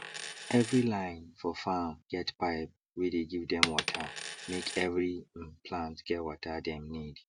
every line for farm get pipe wey dey give dem watermake every um plant get water dem need